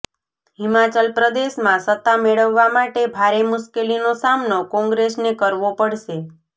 હિમાચલ પ્રદેશમાં સત્તા મેળવવા માટે ભારે મુશ્કેલીનો સામનો કોંગ્રેસને કરવો પડશે